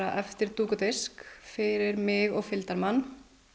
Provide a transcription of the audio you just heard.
eftir dúk og disk fyrir mig og fylgdarmann